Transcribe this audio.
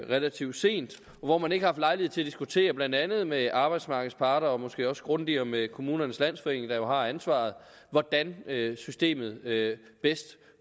relativt sent hvor man ikke har haft lejlighed til at diskutere blandt andet med arbejdsmarkedets parter og måske også grundigere med kommunernes landsforening der jo har ansvaret hvordan systemet bedst